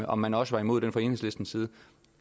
om man også var imod det fra enhedslistens side